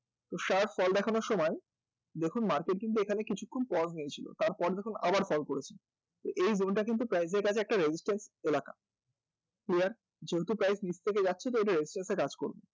তো sharp fall দেখানোর সময় দেখুন market কিন্তু এখানে কিছুক্ষণ pause নিয়েছিল তারপর আবার fall দেখিয়েছে তো এই zone টা কিন্তু price এর কাছে একটা resistance এলাকা clear? যেহেতু price নীচ থেকে যাচ্ছে তাহলে কিন্তু এটা আবার halt করবে